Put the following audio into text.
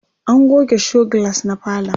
an goge show glass na falon